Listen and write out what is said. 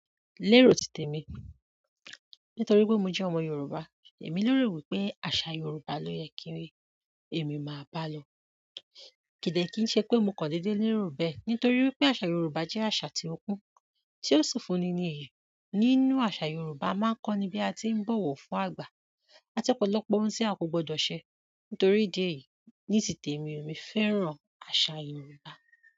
Lérò ti tèmi, nítorí pé mo jẹ́ ọmọ Yorùbá, èmi lérò wípé àṣà Yorùbá ló yẹ kí èmi máa bá lọ. Kì dẹ̀ kíí ṣe pé mo kàn dédé lérò bẹ́ẹ̀, nítorí pé àṣà Yorùbá jẹ́ àṣà tí ó kún, tí ó sì fúnni ní iyì. Nínú àṣà Yorùbá, a máa ń kọ́ni bí a tí ń bọ̀wọ̀ fún àgbà. Àti ọ̀pọ̀lọpọ̀ ohun tí a kò gbọdọ̀ ṣẹ. Nítorí ìdí èyí, ní titèmi o, èmi fẹ́ràn àṣà Yorùbá.